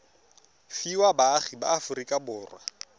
fiwa baagi ba aforika borwa